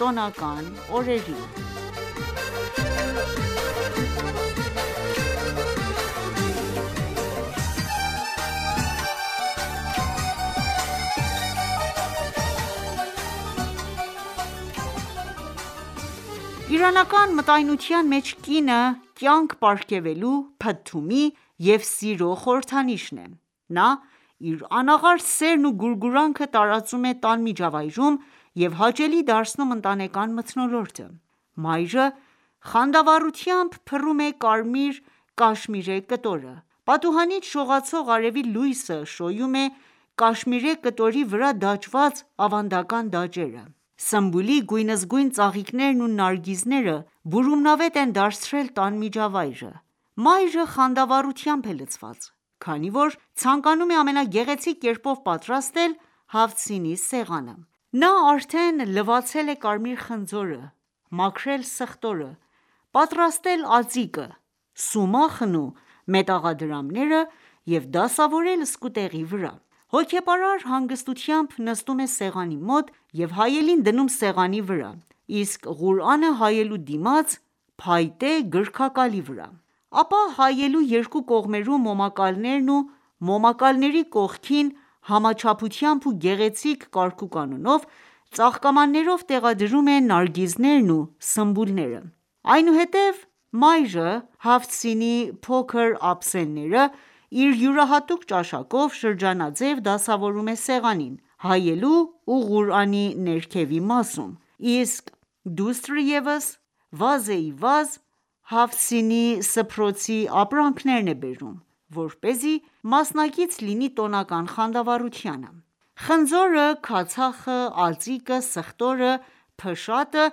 տոնական օրերին Իրանական մտայնության մեջ կինը կյանք պարգևելու, փթթումի և սիրո խորհրդանիշն է:Նա իր անաղարտ սերն ու գուրգուրանքը տարածում է տան միջավայում և հաճելի դարձնում ընտանեկան մթնոլորտը: Մայրը խանդավառությամբ փռում է կարմիր կաշմիրե կտորը:Պատուհանից շողացող արեւի լույսը շոյում է կաշմիրե կտորի վրա դաջված ավանդական դաջերը: Սմբուլի գույնզգույն ծաղիկներն ու նարգիզները բուրումնավետ են դարձրել տան միջավայրը: Մայրը խանդավառությամբ է լցված, քանի որ ցանկանում է ամենագեղեցիկ կերպով պատրաստել «Հաֆթ սին»-ի սեղանը:Նա արդեն լվացել է կարմիր խնձորը, մաքրել սխտորը, պատրաստել ածիկը, սումախն ու մետաղադրամները և դասավորել սկուտեղի վրա։ Հոգեպարար հանգստությամբ, նստում է սեղանի մոտ և հայելին դնում սեղանի վրա, իսկ Ղուրանը` հայելու դիմաց փայտե գրքակալի վրա:Ապա հայելու երկու կողմերում մոմակալներն ու մոմակալների կողքին համաչափությամբ ու գեղեցիկ կարգուկանոնով, ծաղկամաններով տեղադրում է նարգիզներն ու սմբուլները: Այնուհետ մայրը «Հաֆթ սին»-ի փոքր ափսեները իր յուրահատուկ ճաշակով շրջանաձեւ դասավորում է սեղանին ,հայելու ու Ղուրանի ներքևի մասում, իսկ դուստրը ևս վազեիվազ «Հաֆթ սին»-ի սփռոցի ապրանքներն է բերում ,որպեսզի մասնակից լինի տոնական խանդավառությանը:Խնձորը, քացախը, ածիկը, սխտորը ,փշատը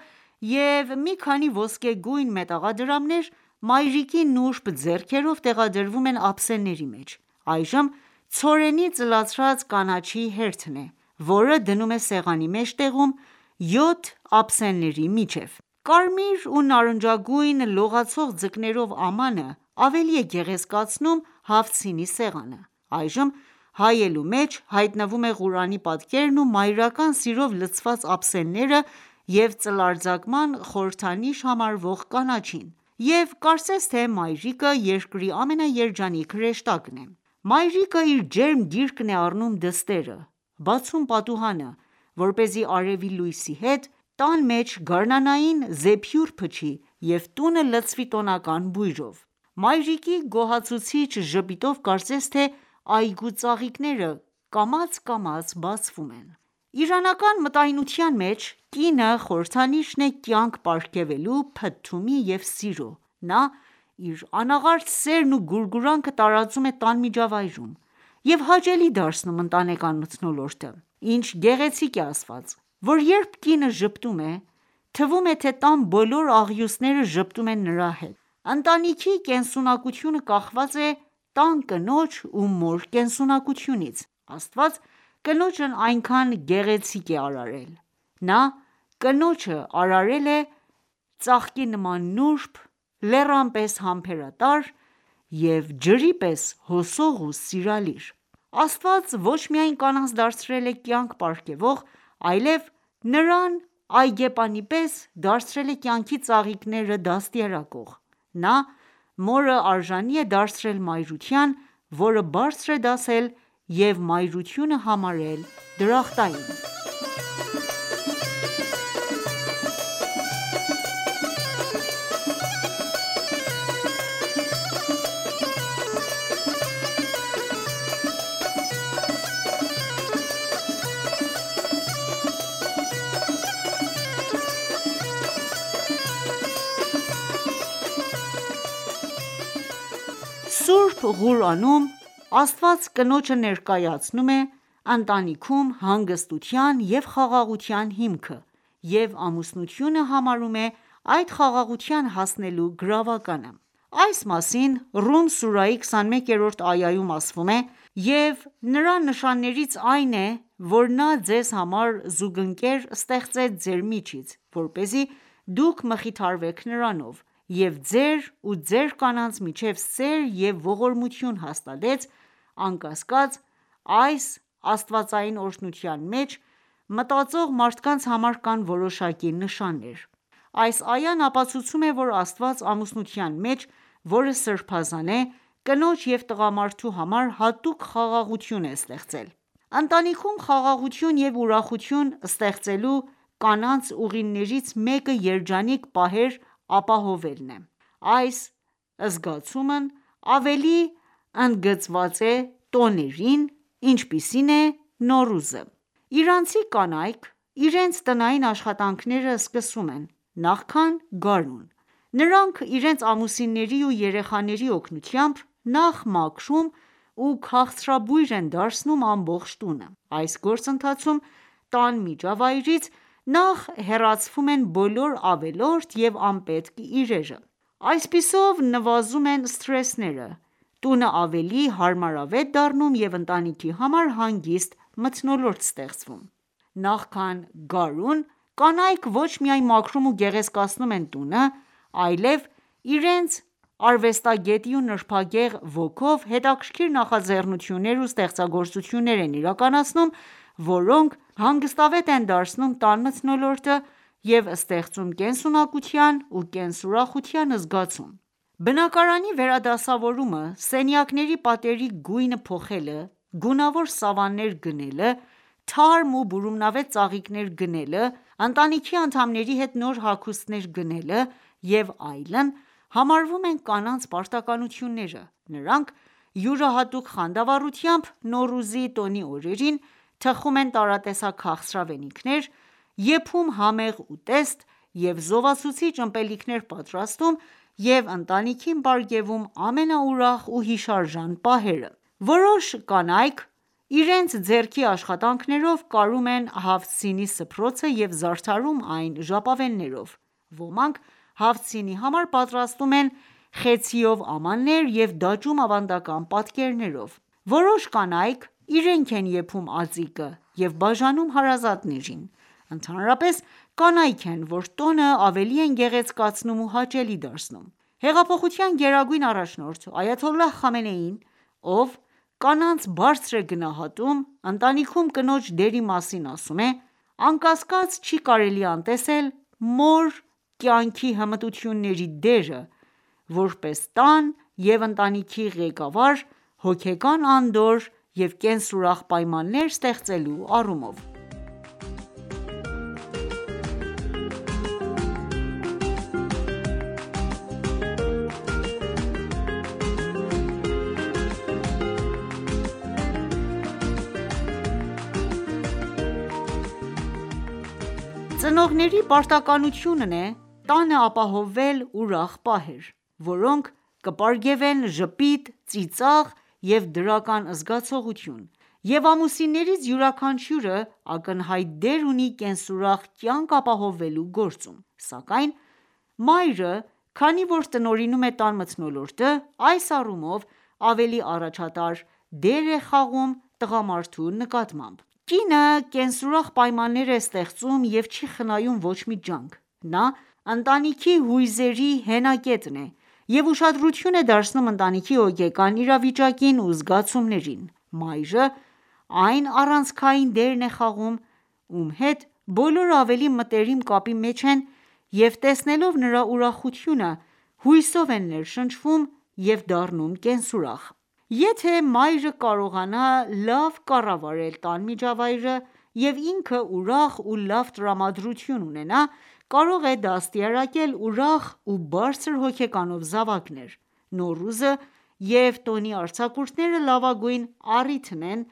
և մի քանի ոսկեգույն մետաղադրամներ ,մայրիկի նուրբ ձեռքերով տեղադրվում են ափսեների մեջ: Այժմ ցորենի ծլացրած կանաչիի հերթն է ,որը դնում է սեղանի մեջտեղում, յոթ ափսեների միջև։ Կարմիր ու նարնջագույն լողացող ձկներով ամանը ,ավելի է գեղեցկացնում «Հաֆթ սին»-ի սեղանը: Այժմ հայելու մեջ հայտնվում է Ղուրանի պատկերն ու մայրական սիրով լցված ափսեները և ծլարձակման խորհրդանիշ համարվող կանաչին, և կարծես թե մայրիկը երկրի ամենաերջանիկ հրեշտակն է։Մայրիկը, իր ջերմ գիրկն է առնում դստերը, բացում պատուհանը, որպեսզի արևի լույսի հետ, տան մեջ գարնանային զեփյուռ փչի և տունը լցվի տոնական բույրով:Մայրիկի գոհացուցիչ ժպիտով կարծես թե՝այգու ծաղիկները կամաց բացվում են։ Իրանական մտայնության մեջ կինը խորհրդանիշն է՝ կյանք պարգևելու, փթթումի և սիրո:Նա իր անաղարտ սերն ու գուրգուրանքը տարածում է տան միջավայում և հաճելի դարձնում ընտանեկան մթնոլորտը:Ինչ գեղեցիկ է ասված, որ երբ կինը ժպտում է, թվում է, թե տան բոլոր աղյուսները ժպտում են նրա հետ:Ընտանիքի կենսունակությունը կախված է տան կնոջ ու մոր կենսունակությունից:Աստված կնոջն այսքան գեղեցիկ է արարել:Նա կնոջը արարել է ծաղկի նման նուրբ, լեռան պես՝համբերատար և ջրի պես՝ հոսող ու սիրալիր: Աստված ոչ միայն կանանց դարձրել է կյանք պարգևող ,այլև նրան այգեպանի պես դարձրել է կյանքի ծաղիկները դաստիարակող: Նա մորը արժանի է դարձրել մայրության, որը բարձր է դասել և մայրությունը համարել է դրախտային: Սուրբ Ղուրանում Աստված կնոջը ներկայացնում է,ընտանիքում հանգստության և խաղաղության հիմքը և ամուսնությունը համարում է այդ խաղաղության հասնելու գրավականը:Այս մասին Ռում սուրահի 21-րդ այայում ասում է.«Եվ Նրա նշաններից այն է, որ Նա ձեզ համար զուգընկերներ ստեղծեց ձեր միջից, որպեսզի դուք մխիթարվեք նրանով, և ձեր ու ձեր կանանց միջև սեր և ողորմություն հաստատեց, անկասկած, այս (աստվածային օրհնության) մեջ, մտածող մարդկանց համար կան որոշակի նշաններ »: Այս այան ապացուցում է ,որ Աստված ,ամուսնության մեջ ,որը սրբազան է ,կնոջ և տղամարդու համար հատուկ խաղաղություն է ստեղծել: Ընտանիքում խաղաղություն և ուրախություն ստեղծելու կանանց ուղիներից մեկը երջանիկ պահեր ապահովելն է:Այս զգացումն ավելի ընդգծված է տոներին, ինչպիսին է՝ Նոռուզը:Իրանցի կանայք իրենց տնային աշխատանքները սկսում են, նախքան գարուն:Նրանք իրենց ամուսինների ու երեխաների օգնությամբ նախ մաքրում ու քաղցրաբույր են դարձնում ամբողջ տունը:Այս գործընթացում ,տան միջավայրից նախ հեռացվում են բոլոր ավելորդ և անպետք իրերը: Այսպիսով նվազում են սթրեսները, տունը ավելի հարմարավետ դառնում և ընտանիքի համար հանգիստ մթնոլորտ ստեղծվում: Նոռուզից առաջ իրանցի կանայք ու մայրերը մաքրում ու կարգ ու կանոնի են բերում բնակարանները Նախքան գարուն, կանայք ոչ միայն մաքրում ու գեղեցկացնում են տունը, այլև իրենց արվեստագետի ու նրբագեղ ոգով հետաքրքիր նախաձեռնություններ ու ստեղծագործություններ են իրականացնում, որոնք հանգստավետ են դարձնում տան մթնոլորտը և ստեղծում կենսունակության ու կենսուրախության զգացում։ Բնակարանի վերադասավորումը, սենյակների պատերի գույնը փոխելը, գունավոր սավաններ գնելը, թարմ և բուրումնավետ ծաղիկներ գնելը ,ընտանիքի անդամների հետ նոր հագուստներ գնելը և այլն ,համարվում են կանանց պարտականությունները: Նրանք յուրահատուկ խանդավառությամբ Նոռուզի տոնի օրերին ,թխում են տարատեսակ քաղցրավենիքներ ,եփում համեղ ուտեստ և զովացուցիչ ըմպելիքներ պատրաստում և ընտանիքին պարգևում ամենաուրախ ու հիշարժան պահերը: Որոշ կանայք իրենց ձեռքի աշխատանքներով կարում են «Հաֆթ սին»-ի սփռոցը և զարդարում այն ​​ժապավեններով։ Ոմանք սին»-ի համար պատրաստում են խեցիով ամաններ և դաջում ավանդական պատկերներով :Որոշ կանայք իրենք են եփում ածիկը և բաժանում հարազատներին:Ընդհանրապես կանայք են ,որ տոնը ավելի են գեղեցկացնում ու հաճելի դարձնում: Հեղափոխության գերագույն առաջնորդ այաթոլլահ Խամենեին ,ով կանանց բարձր է գնահատում ,ընտանիքում կնոջ դերի մասին ասում է.«Անկասկած, չի կարելի անտեսել մոր՝կյանքի հմտությունների դերը, որպես տան և ընտանիքի ղեկավար՝հոգեկան անդորր և կենսուրախ պայմաններ ստեղծելու առումով»: Ծնողների պարտականությունն է տանը ապահովել ուրախ պահեր, որոնք կպարգևեն ժպիտ, ծիծաղ և դրական զգացողություն և ամուսիններից յուրաքանչյուրը ակնհայտ դեր ունի կենսուրախ կյանք ապահովելու գործում ,սակայն մայրը քանի որ տնօրինում է տան մթնոլորտը ,այս առումով ավելի առաջատար դեր ունի տղամարդու նկատմամբ:Կինը կենսուրախ պայմաններ է ստեղծում և չի խնայում ոչ մի ջանք :Նա ընտանիքի հույզերի հենակետն է և ուշադրություն է դարձնում ընտանիքի հոգեկան իրավիճակին ու զգացումներին: Մայրը այն առանցքային դերն է խաղում ,ում հետ բոլորը ավելի մտերիմ կապի մեջ են և տեսնելով նրա ուրախությունը ,հույսով են ներշնչվում և դառնում կենսուրախ: Եթե ​​մայրը կարողանա լավ կառավարել տան միջավայրը և ինքը ուրախ ու լավ տրամադրություն ունենա, կարող է դաստիարակել ուրախ ու բարձր հոգեկանով զավակներ: Նոռուզը և տոնի արձակուրդները լավագույն առիթն են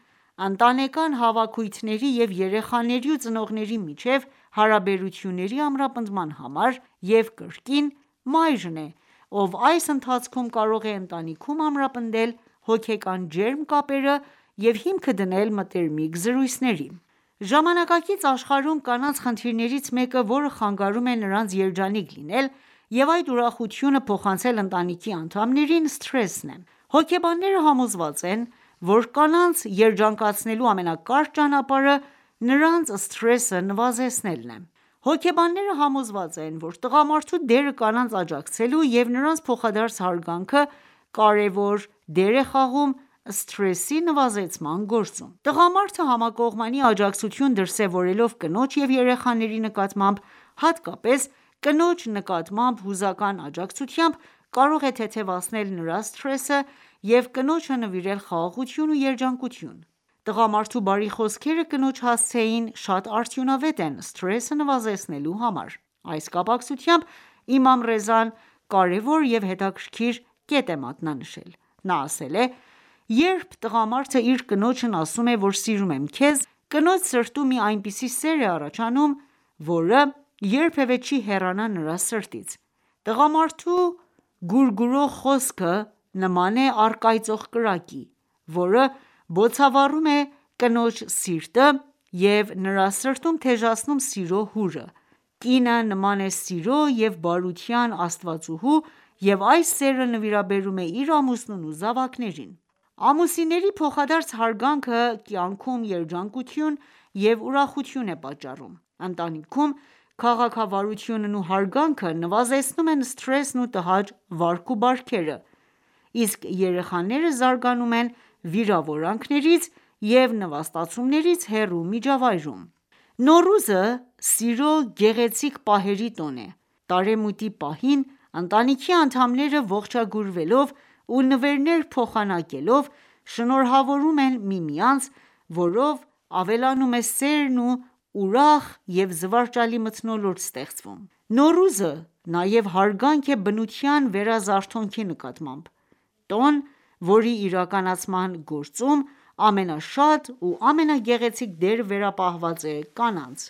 ընտանեկան հավաքույթների և երեխաների ու ծնողների միջև հարաբերությունների ամրապնդման համար և կրկին ,մայրն է ով այս ընթացքում կարող է ընտանիքում ամրապնդել հոգեկան ջերմ կապերը և հիմքը դնել մտերմիկ զրույցների: Ժամանակակից աշխարհում կանանց խնդիրներից մեկը, որը խանգարում է նրանց երջանիկ լինել և այդ ուրախությունը փոխանցել ընտանիքի անդամներին, սթրեսն է:Հոգեբանները համոզված են, որ կանանց երջանկացնելու ամենակարճ ճանապարհը նրանց սթրեսը նվազեցնելն է։Հոգեբանները համոզված են, որ տղամարդու դերը կանանց աջակցելու և նրանց փոխադարձ հարգանքը կարևոր դեր է խաղում սթրեսի նվազեցման գործում:Տղամարդը համակողմանի աջակցություն դրսևորելով կնոջ և երեխաների նկատմամբ,, հատկապես կնոջ նկատմամբ հուզական աջակցությամբ, կարող է թեթևացնել նրա սթրեսը և կնոջը նվիրել խաղաղություն և երջանկություն:Տղամարդու բարի խոսքերը կնոջ հասցեին շատ արդյունավետ են սթրեսը նվազեցնելու համար։ Այս կապակցությամբ Իմամ Ռեզան կարևոր և հետաքրքիր կետ է մատնանշել:Նա ասել է.«Երբ տղամարդը իր կնոջն ասում է ,որ սիրում եմ քեզ, կնոջ սրտում մի այնպիսի սեր է առաջանում ,որը երբևէ չի հեռանա նրա սրտից»: Տղամարդու գուրգուրող խոսքը ,նման է առկայծող կրակի ,որը բոցավառում է կնոջ սիրտը և նրա սրտում թեժացնում սիրո հուրը: Կինը նման է սիրո և բարության աստվածուհու և այս սերը նվիրաբերում է իր ամուսնուն ու զավակներին: Ամուսինների փոխադարձ հարգանքը կյանքում երջանկություն և ուրախություն է պատճառում: Ընտանիքում քաղաքավարությունն ու հարգանքը նվազեցնում են սթրեսն ու տհաճ վարք ու բարքերը, իսկ երեխաները զարգանում են վիրավորանքներից և նվաստացումներից հեռու միջավայրում: Նոռուզը ,սիրո գեղեցիկ պահերի տոն է :Տարեմուտի պահին ,ընտանիքի անդամները ողջագուրվելով ու նվերներ փոխանակելով, շնորհավորում միմյանց ,որով ավելանում է սերն ու ուրախ և զվարճալի մթնոլորտ ստեղծվում: Նոռուզը նաև հարգանք է բնության վերազարթոնքի նկատմամբ :Տոն ,որի իրականացման գործում ամենաշատ ու ամենագեղեցիկ դերը վերապահված է կանանց: